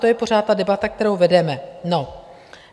To je pořád ta debata, kterou vedeme.